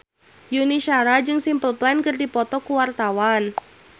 Yuni Shara jeung Simple Plan keur dipoto ku wartawan